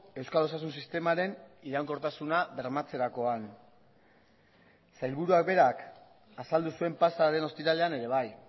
euskal osasun sistemaren iraunkortasuna bermatzerakoan sailburuak berak azaldu zuen pasa den ostiralean ere bai